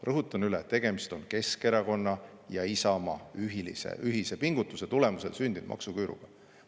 Rõhutan üle: tegemist on Keskerakonna ja Isamaa ühise pingutuse tulemusel sündinud maksuküüruga.